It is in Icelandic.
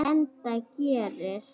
Enda gerir